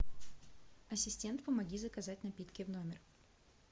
ассистент помоги заказать напитки в номер